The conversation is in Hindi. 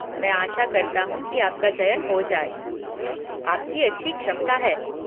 मैं आशा करता हूँ कि आपका चयन हो जाए, आपकी अच्छी क्षमता है।